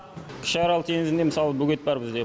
кіші арал теңізінде мысалы бөгет бар бізде